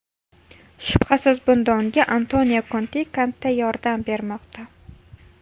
Shubhasiz, bunda unga Antonio Konte katta yordam bermoqda.